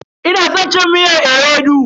Ina san cin miyar ewedu.